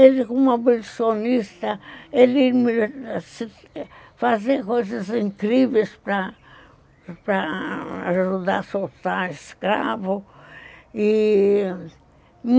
Ele, como abolicionista, ele fazia coisas incríveis para para ajudar a soltar escravos e